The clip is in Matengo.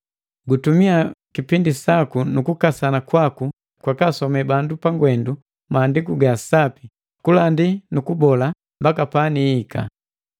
Gutumia kipindi saku nu kukasana kwaku kwakasome bandu pangwendu Maandiku ga Sapi, kulandi nu kubola, mbaka panihika.